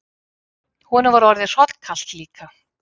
Honum var orðið hrollkalt líka.